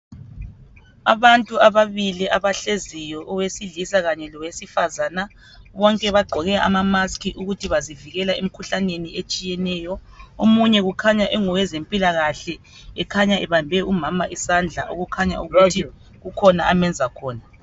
Abantu ababili abahleziyo. Owesilisa kanye lowesifazana. Bonke bagqoke amamasks, ukuthi bazivikela emikhuhlaneni etshiyeneyo. Omunye ukhanya, engowezempilakahle. Kukhanya ebambe umama isandla. Okukhanya ukuthi kukhona amenza khona.